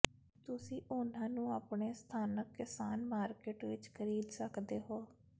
ਤੁਸੀਂ ਉਨ੍ਹਾਂ ਨੂੰ ਆਪਣੇ ਸਥਾਨਕ ਕਿਸਾਨ ਮਾਰਕੀਟ ਵਿੱਚ ਖਰੀਦ ਸਕਦੇ ਹੋ